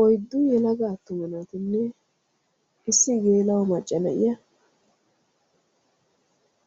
Oyddu yelaga attuma naatinne issi geela'o macca na'iya